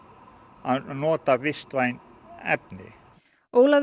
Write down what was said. að nota vistvæn efni Ólafur